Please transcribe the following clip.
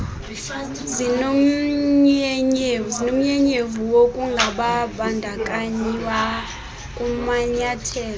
zinomnyenyevu wokungabandakanywa kumanyathelo